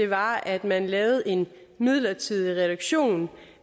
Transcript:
var at man lavede en midlertidig reduktion